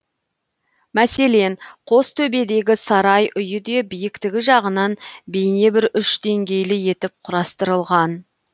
мәселен қостөбедегі сарай үйі де биіктігі жағынан бейне бір үш деңгейлі етіп құрастырылған